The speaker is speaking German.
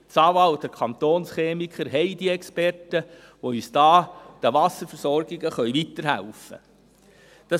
Das AWA und der Kantonschemiker haben diese Experten, die den Wasserversorgungen weiterhelfen können.